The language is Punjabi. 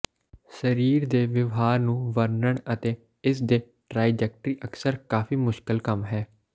ਸਰੀਰ ਦੇ ਵਿਵਹਾਰ ਨੂੰ ਵਰਣਨ ਅਤੇ ਇਸ ਦੇ ਟ੍ਰਾਈਜੈਕਟਰੀ ਅਕਸਰ ਕਾਫ਼ੀ ਮੁਸ਼ਕਲ ਕੰਮ ਹੈ